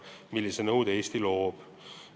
Sellise nõude aga Eesti loob.